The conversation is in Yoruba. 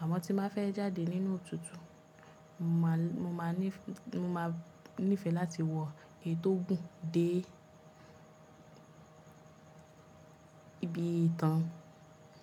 Àmọ́ tí má fẹ́ jáde nínú òtútù, mo máa níì, mo máa nífẹ̀ẹ́ láti wọ èyí tó gùn dé ibi ìtàn.